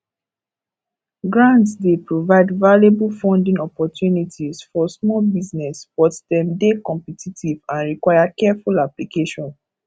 grants dey provide valuable funding opportunities for small business but dem dey competitive and require careful application